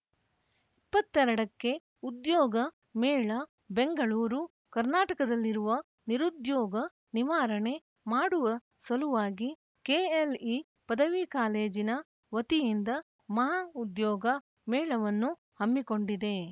ಇಪ್ಪತ್ತ್ ಎರಡು ಕ್ಕೆ ಉದ್ಯೋಗ ಮೇಳ ಬೆಂಗಳೂರು ಕರ್ನಾಟಕದಲ್ಲಿರುವ ನಿರುದ್ಯೋಗ ನಿವಾರಣೆ ಮಾಡುವ ಸಲುವಾಗಿ ಕೆಎಲ್‌ಇ ಪದವಿ ಕಾಲೇಜಿನ ವತಿಯಿಂದ ಮಹಾ ಉದ್ಯೋಗ ಮೇಳವನ್ನು ಹಮ್ಮಿಕೊಂಡಿದೆ